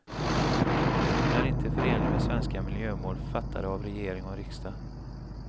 Bron är inte förenlig med svenska miljömål fattade av regering och riksdag.